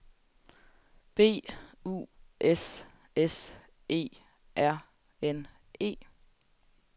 B U S S E R N E